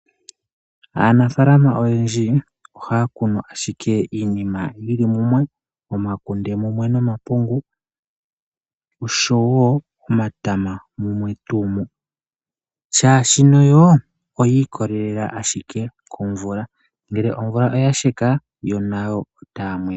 Aanafaalama oyendji ohaya kunu ashike iinima yi li mumwe ngaashi omakunde, omapungu nomatama, shaashi oya ikolelela owala momvula, ngele omvula oya sheka nayo otaya mwena